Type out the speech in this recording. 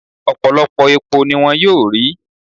Ọ̀pọ̀lọpọ̀ epo ni wón yóò rí